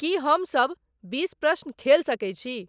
की हमसब बीस प्रश्न खेल सके छी